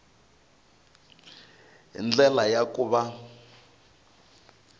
hi ndlela ya ku va